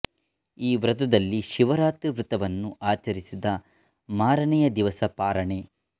ಈ ವ್ರತದಲ್ಲಿ ಶಿವರಾತ್ರಿ ವ್ರತವನ್ನು ಆಚರಿಸಿದ ಮಾರನೆಯ ದಿವಸ ಪಾರಣೆ